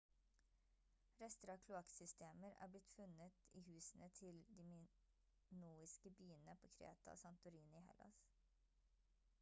rester av kloakksystemer har blitt funnet i husene til de minoiske byene på kreta og santorini i hellas